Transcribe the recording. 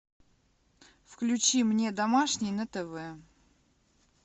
включи мне домашний на тв